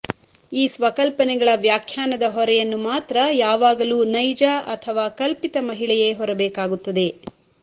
ಈ ಸ್ವಕಲ್ಪನೆಗಳ ವ್ಯಾಖ್ಯಾನದ ಹೊರೆಯನ್ನು ಮಾತ್ರ ಯಾವಾಗಲೂ ನೈಜ ಅಥವಾ ಕಲ್ಪಿತ ಮಹಿಳೆಯೇ ಹೊರಬೇಕಾಗುತ್ತದೆ